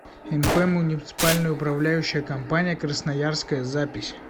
мп муниципальная управляющая компания красноярская запись